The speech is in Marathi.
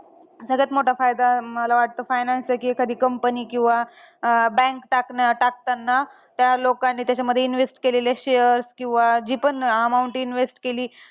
शाळातून हिंदी ठेवण्यात आली. विरोध झाला. त्यांनी जुमानलं नाही. दारू बंदीचे तेवढे आणी दिलासादायक प्रचारामध्ये गावानंबरोबर माय बहिणी ताईच्या ओवाळणी करुन् दारू बंदी झाली.